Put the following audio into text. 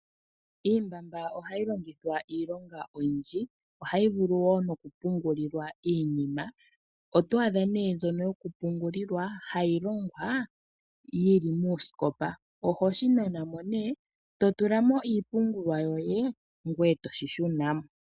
Iimbamba ohayi longithwa iilonga oyindji. Ohayi vulu wo no ku pungulilwa iinima. Oto a dha nee mbyono yo ku pungulilwa hayi longwa yili mooskopa, oho shi nana mo nee, to tulamo iipungulwa yoye, ngoye toshi shunamo.